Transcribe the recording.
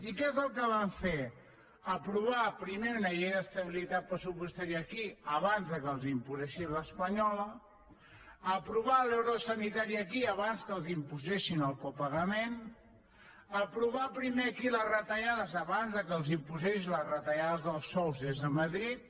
i què és el que van fer aprovar primer una llei d’estabilitat pressupostària aquí abans que els imposessin l’espanyola aprovar l’euro sanitari aquí abans que els imposessin el copagament aprovar primer aquí les retallades abans que els imposessin les retallades dels sous des de madrid